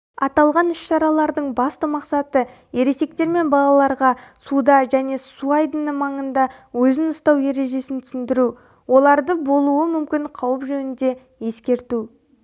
аталған іс-шаралардың басты мақсаты ересектер мен балаларға суда және суайдыны маңында өзін ұстау ережесін түсіндіру оларды болуы мүмкін қауіп жөнінде ескерту